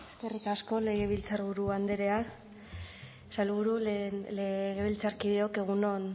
eskerrik asko legebiltzarburu andrea sailburu legebiltzarkideok egunon